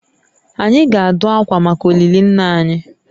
Anyị ga-adụ akwa maka olili nna anyị